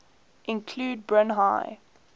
include brine high